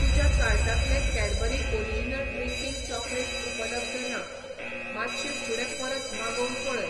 तुज्या कार्टांतलें Cadbury original drinking chocolate उपलब्ध ना, मातशें फुडें परत मागोवन पळय.